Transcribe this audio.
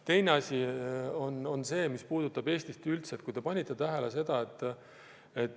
Teine asi on see, mis puudutab Eestit üldse.